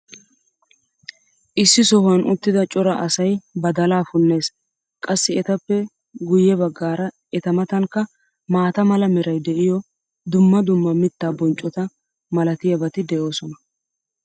issi sohuwan uttida cora asay badalaa punnees. qassi etappe guye baggaara eta matankka maata mala meray diyo dumma dumma mittaa bonccota malatiyaabati de'oosona.